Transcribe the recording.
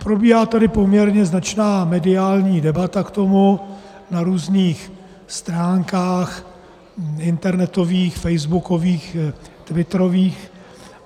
Probíhá tady poměrně značná mediální debata k tomu na různých stránkách - internetových, facebookových, twitterových.